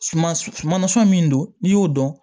Suma suma nasɔn min don n'i y'o dɔn